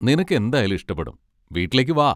നിനക്കെന്തായാലും ഇഷ്ടപ്പെടും. വീട്ടിലേക്ക് വാ.